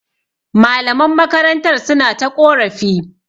Malaman makarantar suna ta ƙorafi.